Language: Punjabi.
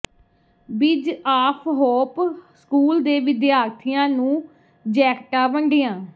ਬਿ੍ਜ ਆਫ਼ ਹੋਪ ਸਕੂਲ ਦੇ ਵਿਦਿਆਰਥੀਆਂ ਨੂੰ ਜੈਕਟਾਂ ਵੰਡੀਆਂ